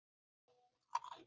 Elsku bróðir, takk fyrir allt.